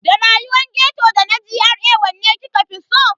Da rayuwar ghetto da na GRA wanne kika fi so?